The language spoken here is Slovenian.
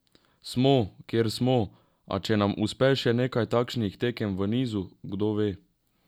Smo, kjer smo, a če nam uspe še nekaj takšnih tekem v nizu, kdo ve?